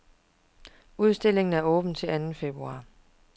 Udstillingen er åben til anden februar.